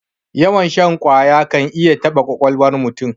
Yawan shan ƙwaya kan iya taɓa ƙwaƙwalwar mutum.